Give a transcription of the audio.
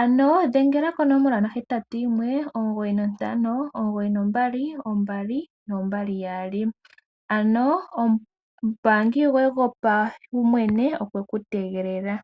ano dhengela konomola 0819592222, ano omumbaangi goye gopawumwene okwe ku tegelela.